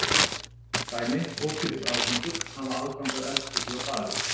Dæmi: ókeypis aðgangur, hafa aðgang að eldhúsi og baði.